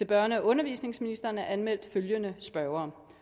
børne og undervisningsministeren er anmeldt følgende spørgere